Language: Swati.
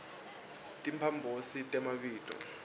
timphambosi temabito